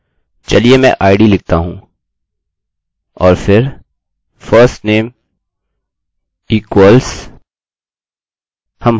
चलिए इससे वेरिएबल्सvariables बनाते हैं चलिए मैं id लिखता हूँ और फिर firstname equals हम हर जगह एक ही संरचना इस्तेमाल कर रहे हैं